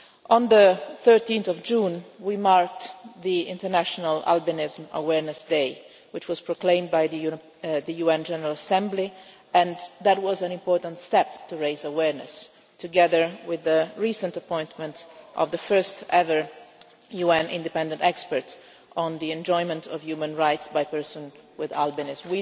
On 13 June we marked International Albinism Awareness Day, which was proclaimed by the UN General Assembly. That was an important step to raise awareness, together with the recent appointment of the first ever UN independent expert on the enjoyment of human rights by persons with albinism.